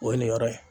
O ye nin yɔrɔ ye